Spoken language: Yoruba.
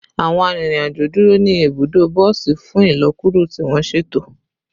Awọn arinrin-ajo duro ni ibudo bosi fun ilọkuro ti wọn ṣeto